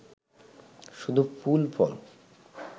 শুধু ফুল ফল!